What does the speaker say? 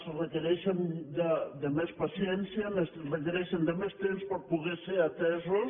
que requereixen de més paciència requereixen de més temps per poder ser atesos